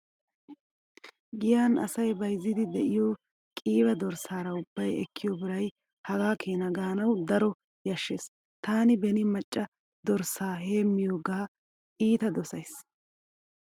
Giyan asay bayzziiddi de'iyo qiiba dorssaara ubbay ekkiyo biray hagaa keena gaanawu daro yashshees. Taani beni macca dorssaa heemmiyogaa iita dosays.